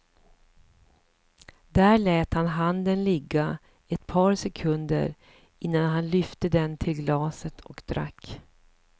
Där lät han handen ligga ett par sekunder innan han lyfte den till glaset och drack.